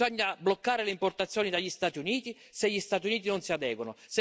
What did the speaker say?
Bisogna bloccare le importazioni dagli Stati Uniti, se gli Stati Uniti non si adeguano.